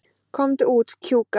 Komdu út, Kjúka.